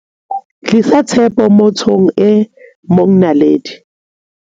Tlisa tshepo mo thong e mongNaledi